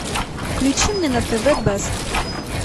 включи мне на тв бест